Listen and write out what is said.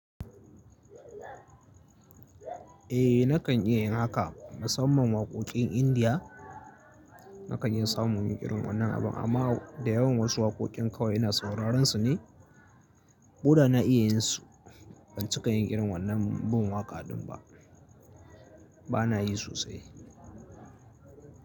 Eh nakan iya yin haka. Musaman waƙoƙin Indiya nakan iya samu inyi wannan abun aman kuwa dayawa irin wasu wakokin ina sauraron su ne. Koɗa na iya yin su, ban cika yin irin wannan bin waƙa ɗin ba. Bana yi sosai.